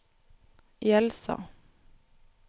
Jelsa